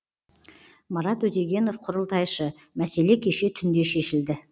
марат өтегенов құрылтайшы мәселе кеше түнде шешілді